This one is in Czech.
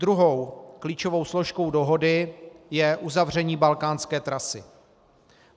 Druhou klíčovou složkou dohody je uzavření balkánské trasy.